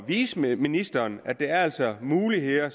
vise ministeren at der altså er muligheder